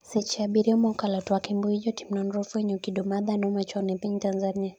seche abiriyo mokalo twak e mbui jotim nonro ofwenyo kido mag dhano machon e piny Tanzania